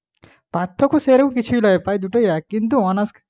পার্থক্য সেরম কিছুই নয় দুটোই একই কিন্তু তো honours